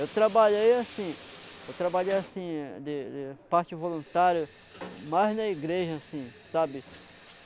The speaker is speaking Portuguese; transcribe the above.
Eu trabalhei assim, eu trabalhei assim, de de de parte voluntário, mas na igreja assim, sabe?